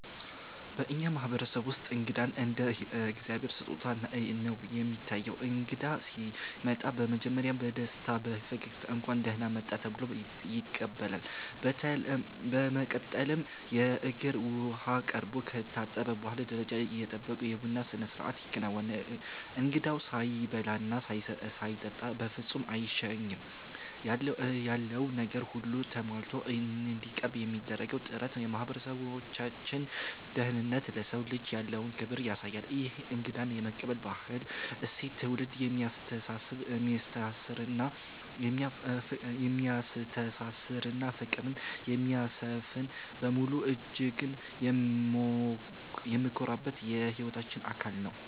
በእኛ ማህበረሰብ ውስጥ እንግዳ እንደ እግዚአብሔር ስጦታ ነው የሚታየው። እንግዳ ሲመጣ በመጀመሪያ በደስታና በፈገግታ 'እንኳን ደህና መጣህ' ተብሎ ይቀበላል። በመቀጠልም የእግር ውሃ ቀርቦ ከታጠበ በኋላ፣ ደረጃውን የጠበቀ የቡና ስነስርዓት ይከናወናል። እንግዳው ሳይበላና ሳይጠጣ በፍጹም አይሸኝም። ያለው ነገር ሁሉ ተሟልቶ እንዲቀርብ የሚደረገው ጥረት የማህበረሰባችንን ደግነትና ለሰው ልጅ ያለውን ክብር ያሳያል። ይህ እንግዳ የመቀበል ባህላዊ እሴት ትውልድን የሚያስተሳስርና ፍቅርን የሚያሰፍን በመሆኑ እጅግ የምንኮራበት የህይወታችን አካል ነው።